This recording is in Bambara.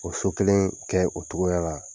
O so kelen kɛ o cogoya la